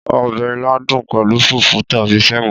Ọbẹ̀ ilá dùn pẹ̀lú fùfú tàbí sẹ̀mó.